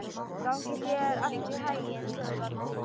Gangi þér allt í haginn, Þjóðvarður.